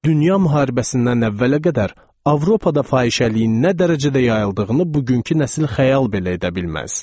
Dünya müharibəsindən əvvələ qədər Avropada fahişəliyin nə dərəcədə yayıldığını bugünkü nəsil xəyal belə edə bilməz.